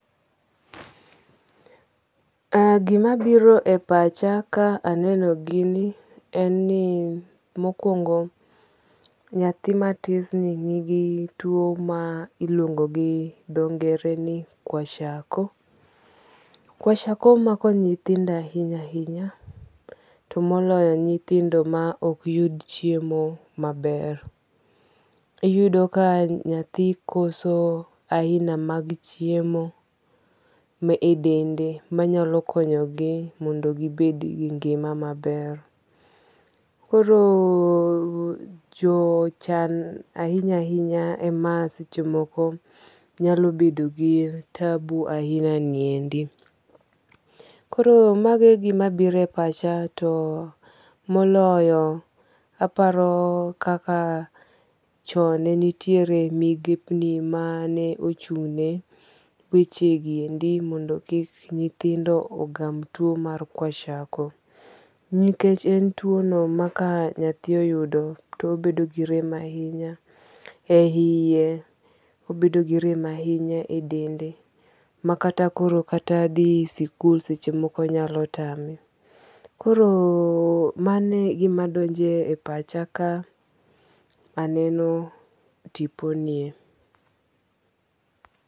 Gima biro e pacha ka aneno gini en ni mokwongo nyathi matis ni nigi tuo ma iluongo gi dho ngere ni kwashiorkor. Kwashiorkor mako nyithido ahinya ahinya. To moloyo nyithindo ma ok yud chiemo maber. Uyudo ka nyathi koso aina mag chiemo ma e dende manyalo konyogi mondo gibed gi ngima maber. Koro jochan ahinya ahinya ema seche moko nyalo bedo gi tabu ahina ni endi. Koro mago e gima biro e pacha to moloyo aparo kaka chon ne nitiere migepni mane ochung' ne wech gi endi mondo kik nyithindo ogam tuo ma Kwashiorkor. Nikech en tuo no ma ka nyathi oyudo to obedo gi rem ahinya e iye. Obedo gi rem ahinya e dende. Makata koro kata dhi sikul seche moko nyalo tame. Koro mane e gima donje e pacha ka aneno tipo nie.